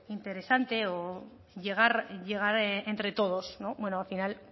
interesante llegar entre todos bueno al final